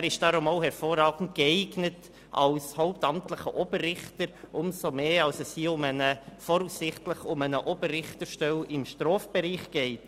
Er ist daher auch hervorragend als hauptamtlicher Oberrichter geeignet, umso mehr als es hier voraussichtlich um eine Oberrichterstelle im Strafbereich geht.